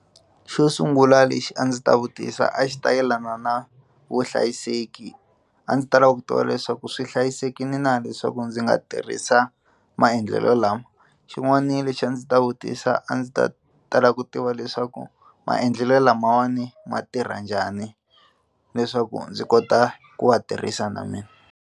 Xo sungula lexi a ndzi ta vutisa a xi ta yelana na vuhlayiseki a ndzi ta lava ku tiva leswaku swi hlayisekile na leswaku ndzi nga tirhisa maendlelo lawa xin'wani lexi a ndzi ta vutisa a ndzi ta tala ku tiva leswaku maendlelo lamawani ma tirha njhani leswaku ndzi kota ku wa tirhisa na mina.